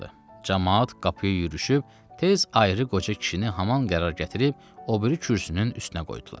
Camaat qapıya yürüşüb, tez ayrı qoca kişini haman qərar gətirib o biri kürsünün üstünə qoydular.